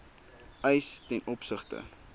eise ten opsigte